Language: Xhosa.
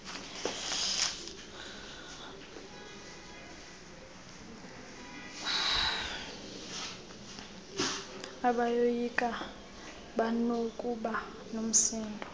bayoyika banokuba nomsindo